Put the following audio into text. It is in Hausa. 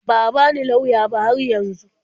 Ba a bani lauya ba har yanzu.